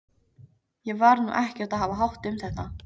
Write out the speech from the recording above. Ég var nú ekkert að hafa hátt um þetta.